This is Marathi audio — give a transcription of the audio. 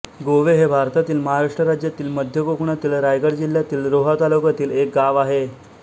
गोवे हे भारतातील महाराष्ट्र राज्यातील मध्य कोकणातील रायगड जिल्ह्यातील रोहा तालुक्यातील एक गाव आहे